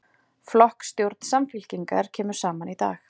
Flokksstjórn Samfylkingar kemur saman í dag